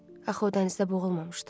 Axı o dənizdə boğulmamışdı?